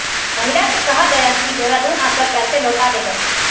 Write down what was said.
महिला से कहा गया कि देहरादून आकर पैसे लौटा देगा